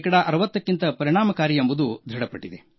60ಕ್ಕಿಂತ ಹೆಚ್ಚು ಪರಿಣಾಮಕಾರಿ ಎಂಬುದು ದೃಢಪಟ್ಟಿದೆ